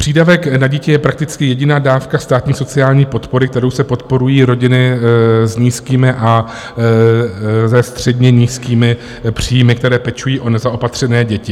Přídavek na dítě je prakticky jediná dávka státní sociální podpory, kterou se podporují rodiny s nízkými a se středně nízkými příjmy, které pečují o nezaopatřené děti.